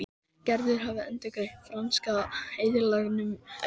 Gerður hafði endurgreitt franska aðilanum efnið.